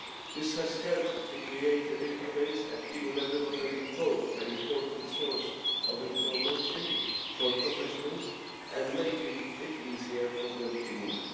This has helped to create a database at EU level offering both an important source of information for professionals and making it easier for them to move.